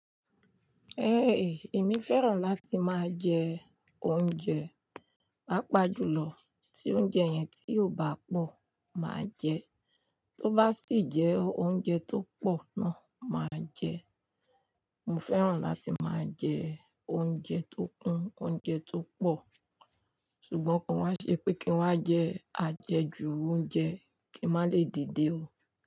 Ẹ eh! Èmi fẹ́ràn láti máa jẹ oúnjẹ, pàápàá jùlọ ti oúnjẹ yẹn ti ò bá pọ̀, màá jẹ ẹ. Tó bá sì jẹ́ oúnjẹ tó pọ̀ náà, màá jẹ ẹ. Mo fẹ́ràn láti máa jẹ oúnjẹ tó kún, oúnjẹ tó pọ̀. Ṣùgbọ́n ko wá ṣe pé kí n wá jẹ àjẹjù oúnjẹ kí n má lè dìde o.